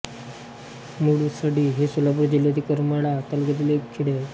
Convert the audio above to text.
गुळसडी हे सोलापुर जिल्ह्यातील करमाळा तालुक्यातील एक खेडे आहे